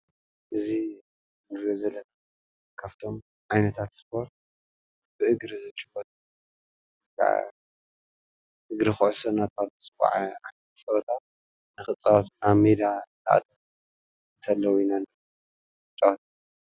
እዚ ንሪኦ ዘለና ካፍቶም ዓይነታት ስፖርት ብእግሪ ዝጭወት እግሪ ኩዕሶ እናተባህለ ዝፅዋዕ ዓይነት ፀወታ ንኽፃወቱ ናብ ሜዳ ይኣትዉ ተለዉ ኢና ጫወት፡፡